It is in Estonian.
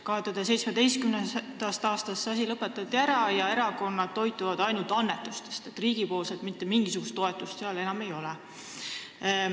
2017. aastast lõpetati see asi ära: erakonnad toituvad nüüd ainult annetustest, mitte mingisugust riigi toetust seal enam ei ole.